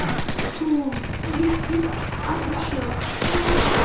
Tom, biz, biz azmışıq, azmışıq Tom.